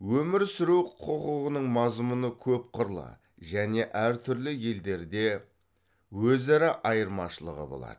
өмір сүру құқығының мазмұны көп қырлы және әр түрлі елдерде өзара айырмашылығы болады